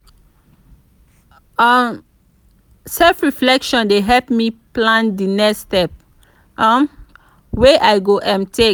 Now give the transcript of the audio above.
um self-reflection dey help me plan di next step um wey i go um take.